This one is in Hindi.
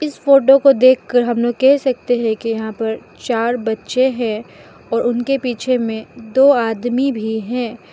इस फोटो को देखकर हम लोग कह सकते है की यहां पर चार बच्चे है और उनके पीछे मे दो आदमी भी है।